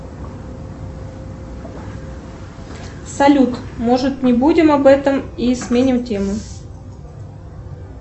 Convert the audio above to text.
салют может не будем об этом и сменим тему